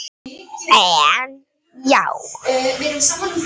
En já.